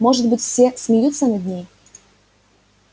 может быть все смеются над ней